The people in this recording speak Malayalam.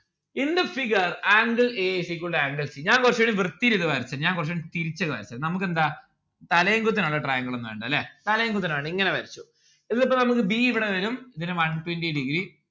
in the figure angle a is equal to angle c ഞാൻ കൊറച്ചൂടെ വൃത്തിയിൽ ഇത് വരച്ചേര ഞാൻ കൊറച്ചൂടെ തിരിച്ച്‌ വരച്ചേരാം നമുക്കെന്താ തലേം കുത്തിയുള്ള triangle ഒന്നും വേണ്ടാ ല്ലേ തലേം കുത്തനെ ഒന്നും വേണ്ട ഇങ്ങനെ വരച്ചോ ഇതിൽ ഇപ്പൊ നമ്മുക്ക് b ഇവിടെ വരും ഇതിന് one twenty degree